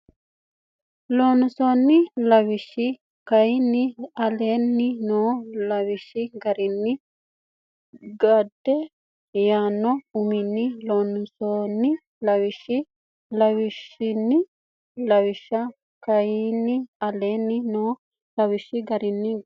Loossinanni Lawishsha kayinni aleenni noo lawishshi garinni Gade yaanno uminni Loossinanni Lawishsha Loossinanni Lawishsha kayinni aleenni noo lawishshi garinni Gade.